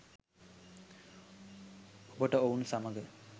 ඔබට ඔවුන් සමග